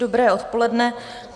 Dobré odpoledne.